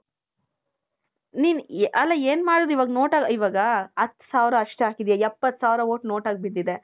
ಅಲ್ಲ ಏನ್ ಮಾಡೋದು ಇವಾಗ noteಆಗಿ ಇವಾಗ ಹತ್ತು ಸಾವಿರ ಅಷ್ಟೆ ಹಾಕಿದ್ದೀವಿ ಎಪ್ಪತ್ತು ಸಾವಿರ vote noteಆಗಿ ಬಿದ್ದಿದೆ .